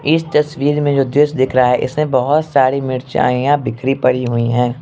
इस तस्वीर में जो दृश्य दिख रहा है इसमे बहोत सारी र्मीचाईयां बिखरी पड़ी हुई हैं।